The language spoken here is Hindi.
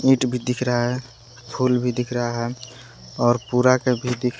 ईंट भी दिख रहा है फूल भी दिख रहा है और पूरा का भी दि--